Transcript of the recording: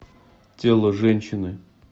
тело женщины